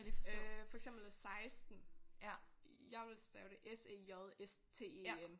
Øh for eksempel 16. Jeg ville stave det s e j s t e n